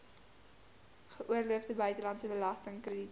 geoorloofde buitelandse belastingkrediete